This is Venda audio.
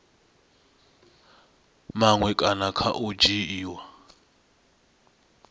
maṅwe kana kha u dzhiiwa